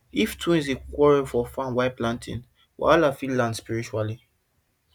if twins dey quarrel for farm while planting wahala fit land spiritually